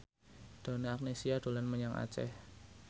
Donna Agnesia dolan menyang Aceh